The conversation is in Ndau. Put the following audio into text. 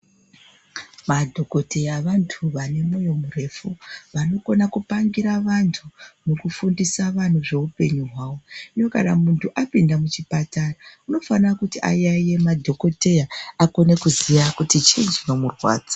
Madhogodheya vantu vanemoyo murefu. Vanokone kupangira vantu, nekufundisa vantu zveupenyu hwavo. Hino kana muntu apinda muchipatara unofana kuti ayaiye madhokoteya akone kuziya kuti chinyi chinomurwadza.